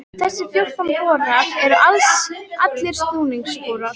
Þessir fjórtán borar eru allir snúningsborar.